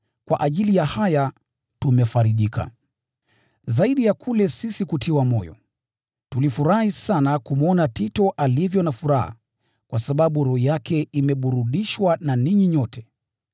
Kwa ajili ya haya tumefarijika. Zaidi ya kule sisi kutiwa moyo, tulifurahi sana kumwona Tito alivyo na furaha, kwa sababu roho yake imeburudishwa na ninyi nyote.